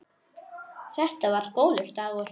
Þetta var góður dagur.